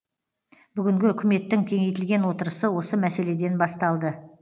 бүгінгі үкіметтің кеңейтілген отырысы осы мәселеден басталды